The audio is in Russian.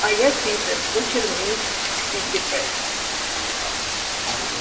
а я питер кучер мисс питтипэт